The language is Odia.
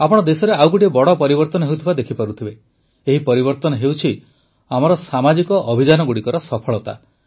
ଆପଣ ଦେଶରେ ଆଉ ଗୋଟିଏ ବଡ଼ ପରିବର୍ତ୍ତନ ହେଉଥିବା ଦେଖିପାରୁଥିବେ ଏହି ପରିବର୍ତ୍ତନ ହେଉଛି ଆମର ସାମାଜିକ ଅଭିଯାନଗୁଡ଼ିକର ସଫଳତା